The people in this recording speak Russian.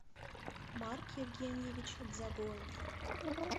марк евгеньевич дзагоев